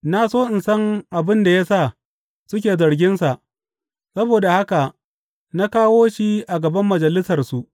Na so in san abin da ya sa suke zarginsa, saboda haka na kawo shi a gaban Majalisarsu.